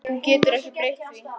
Þú getur ekki breytt því.